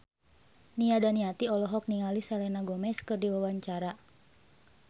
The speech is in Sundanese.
Nia Daniati olohok ningali Selena Gomez keur diwawancara